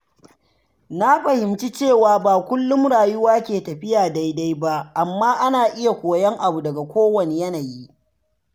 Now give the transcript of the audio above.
Na fahimci cewa ba kullum rayuwa ke tafiya daidai ba, amma ana iya koyon abu daga kowanne yanayi.